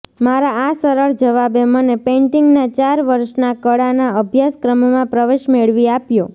મારા આ સરળ જવાબે મને પેન્ટિંગ ના ચાર વર્ષના કળાના અભ્યાસક્રમમાં પ્રવેશ મેળવી આપ્યો